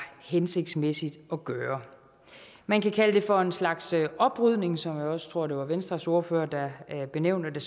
hensigtsmæssigt at gøre man kan kalde det for en slags oprydning som jeg også tror det var venstres ordfører der benævnte